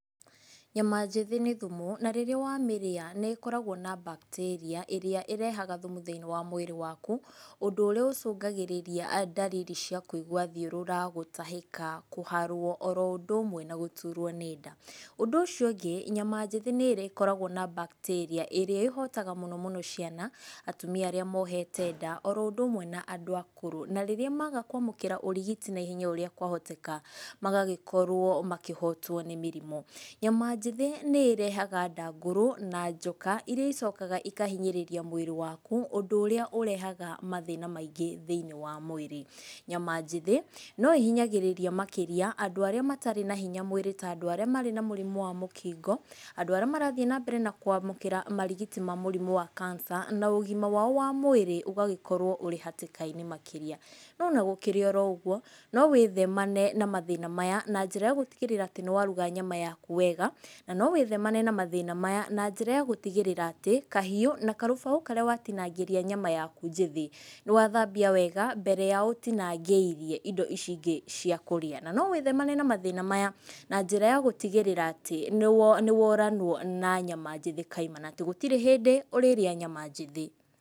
Nyama njĩthĩ nĩ thumu, na rĩrĩa wamĩrĩa nĩkoragwo na bacteria ĩrĩa ĩrehaga thumu thĩinĩi wa mwĩrĩ waku, ũndũ ũrĩa ũcũngagĩrĩria ndariri cia kũigua thiũrũra, gũtahĩka, kũharwo oro ũndũ ũmwe na gũturwo nĩ nda, ũndũ ũcio ũngĩ nyama njĩthĩ nĩĩkoragwo na bacteria ĩrĩa ĩhotaga mũno mũno ciana, atumia arĩa mohete nda, oro ũndũ ũmwe na andũ akũrũ, na rĩrĩa maga kwamũkĩra ũrigiti naihenya o ũrĩa kwahoteka, magagĩkorwo makĩhotwo nĩ mĩrimũ, nyama njĩthĩ nĩrehaga ndangũrũ na njoka iria icokaga ikahinyĩrĩria mwĩrĩ waku, ũndũ ũrĩa ũrehaga mathĩna maingĩ thĩiniĩ wa mwĩrĩ, nyama njĩthĩ noĩhinyagĩrĩria makĩria andũ arĩa matarĩ na hinya mwĩrĩ ta andũ arĩa marĩ na mũrimũ wa mũkingo, andũ arĩa marathiĩ na mbere na kwamũkĩra marigiti ma mũrimũ wa cancer na ũgima wao wa mwĩrĩ ũgagĩkorwo ũrĩ hatĩka-inĩ makĩria, no ona gũkũrĩ o ũguo nowĩthemane na mathĩna maya na njĩra ya gũtigĩrĩra atĩ nĩwaruga nyama yaku wega, na nowĩthemane na mathĩna maya na njĩra gũtigĩrĩra atĩ kahiũ na karũbaũ karĩa watinangĩria nyama yaku njĩthĩ, nĩwathambia wega mbere ya ũtinangĩirie indo icio ingĩ cia kũrĩa, na nowĩthemane na mathĩna maya na njĩra ya gũtigĩrĩra atĩ nĩwo nĩworanwo na nyama njĩthĩ kaimana atĩ gũtirĩ hĩndĩ ũrĩrĩa nyama njĩthĩ.